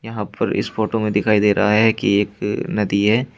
यहां पर इस फोटो में दिखाई दे रहा है कि एक नदी है।